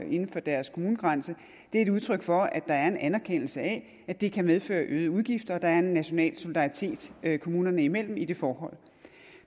inden for deres kommunegrænse er et udtryk for at der er en anerkendelse af at det kan medføre øgede udgifter og at der er en national solidaritet kommunerne imellem i det forhold